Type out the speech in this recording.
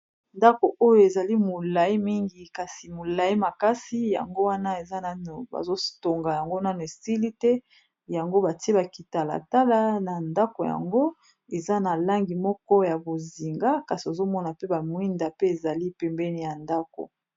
Ndako oyo ezali molayi mingi kasi molayi makasi yango wana eza nanu bazotonga yango nanu esili te yango batie ba kitalatala na ndako yango eza na langi moko ya bonzinga kasi ozomona pe ba mwinda pe ezali pembeni ya ndako.